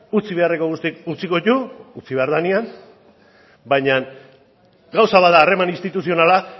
utzi beharreko guztiak utziko ditugu utzi behar danean bainan gauzak bat da harreman instituzionala